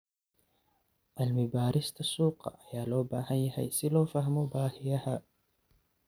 Cilmi-baarista suuqa ayaa loo baahan yahay si loo fahmo baahiyaha.